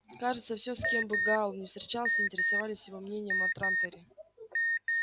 кажется все с кем бы гаал ни встречался интересовались его мнением о транторе